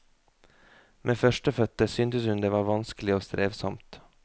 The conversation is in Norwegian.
Med førstefødte syntes hun det var vanskelig og strevsomt.